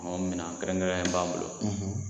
Minɛn kɛrɛnkɛrɛnnen b'an bolo